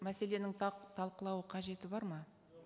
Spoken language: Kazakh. мәселенің талқылау қажеті бар ма